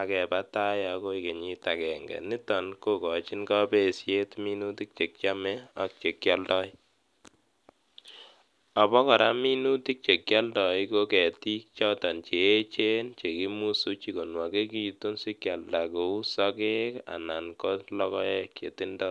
ak kebaa agoi kenyit agenge niton kogochin kopesiet minutik chekiome ak chekioldo ,obokora minutik chekioldo ko ketik choton cheechen chekimusuji konwokekitun sikioldoi kou sokek anan ko logoek chetindo.